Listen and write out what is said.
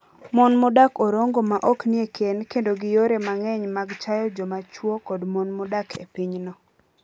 Mon modak Orongo ma ok nie kend kedo gi yore mang'eny mag chayo joma chwo kod mon modak e pinyno.